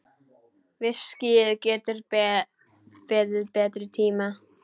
Viskíið getur beðið betri tíma.